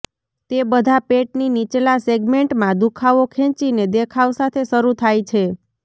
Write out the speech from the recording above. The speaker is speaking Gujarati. તે બધા પેટની નીચલા સેગમેન્ટમાં દુખાવો ખેંચીને દેખાવ સાથે શરૂ થાય છે